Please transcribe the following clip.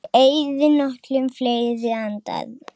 Ég eyði nokkrum fleiri andar